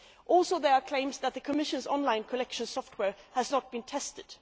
Also, there are claims that the Commission's online collection software has not been tested